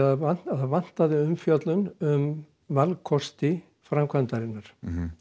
það vantaði það vantaði umfjöllun um vankosti framkvæmdarinnar